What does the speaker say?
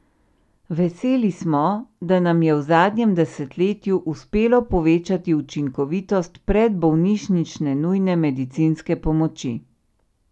Veseli smo, da nam je v zadnjem desetletju uspelo povečati učinkovitost predbolnišnične nujne medicinske pomoči.